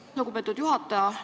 Aitäh, lugupeetud juhataja!